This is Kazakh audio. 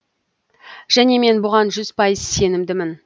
және мен бұған жүз пайыз сенімдімін